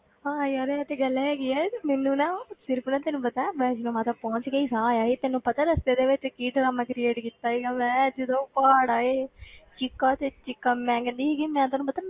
ਹਾਂ ਯਾਰ ਇਹ ਤੇ ਗੱਲ ਹੈਗੀ ਹੈ, ਤੇ ਮੈਨੂੰ ਨਾ ਫਿਰ ਭਲਾ ਤੈਨੂੰ ਪਤਾ ਹੈ ਵੈਸ਼ਨੋ ਮਾਤਾ ਪਹੁੰਚ ਕੇ ਹੀ ਸਾਹ ਆਇਆ ਸੀ, ਤੈਨੂੰ ਪਤਾ ਹੈ ਰਸਤੇ ਦੇ ਵਿੱਚ ਕੀ ਡਰਾਮਾ create ਕੀਤਾ ਸੀਗਾ, ਮੈਂ ਜਦੋਂ ਪਹਾੜ ਆਏ ਚੀਕਾਂ ਤੇ ਚੀਕਾਂ ਮੈਂ ਕਹਿੰਦੀ ਹੈਗੀ ਹਾਂ ਮੈਂ ਤੈਨੂੰ ਪਤਾ